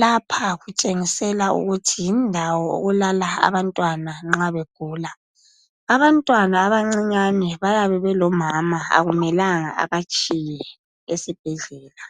lapha kutshengisela ukuthi yindawo elala abantwana nxa begula abantwana abancinyane bayabe belomama akumelanga abatshiye esibhedlela.